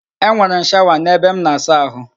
Enwere m shawa n'ebe m na-asa ahụ